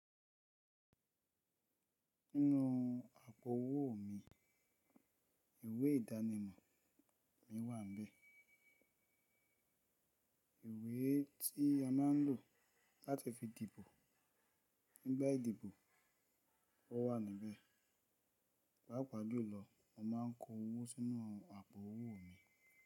Sínú àpò owó mi ìwé ìdánimọ̀ mi wà níbẹ̀. Ìwé tí a má ń lò láti fi dìbò nígbà ìdìbò wà níbẹ̀. Pápa julọ, mo má ń kó owó sínú àpò owó mi.